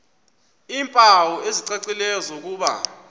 iimpawu ezicacileyo zokuba